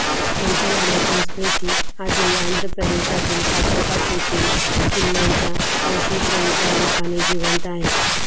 त्यांच्या लढ्याची स्मृती आजही आंध्रप्रदेशातील कोठाकोटा येथील किल्ल्यांच्या अवशेषांच्या रूपाने जिवंत आहे